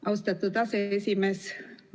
Austatud aseesimees!